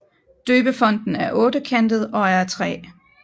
Døbefonten er ottekantet og er af træ